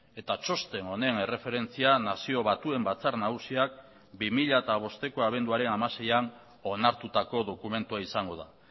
eta txosten honen erreferentzia nazio batuen batzar nagusiak bi mila bosteko abenduaren hamaseian onartutako dokumentua izango da